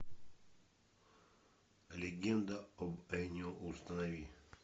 легенда об энио установи